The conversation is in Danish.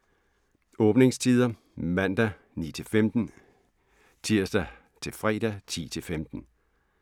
Åbningstider: Mandag: 9-15 Tirsdag - fredag: 10-15